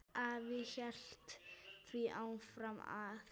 Afi hélt því fram að